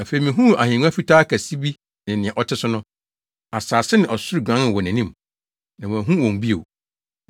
Afei mihuu ahengua fitaa kɛse bi ne nea ɔte so no. Asase ne ɔsoro guanee wɔ nʼanim, na wɔanhu wɔn bio.